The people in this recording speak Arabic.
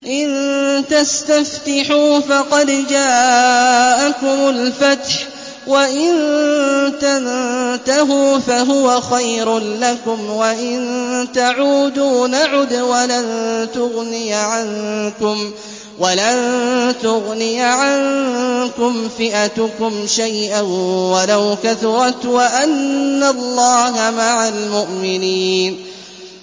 إِن تَسْتَفْتِحُوا فَقَدْ جَاءَكُمُ الْفَتْحُ ۖ وَإِن تَنتَهُوا فَهُوَ خَيْرٌ لَّكُمْ ۖ وَإِن تَعُودُوا نَعُدْ وَلَن تُغْنِيَ عَنكُمْ فِئَتُكُمْ شَيْئًا وَلَوْ كَثُرَتْ وَأَنَّ اللَّهَ مَعَ الْمُؤْمِنِينَ